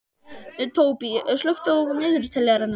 Tóbý, slökktu á niðurteljaranum.